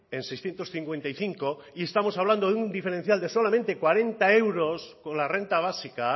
en seiscientos cincuenta y cinco y estamos hablando de un diferencial se solamente cuarenta euros con la renta básica